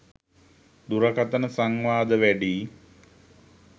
දුරකතන සංවාද වැඩියි.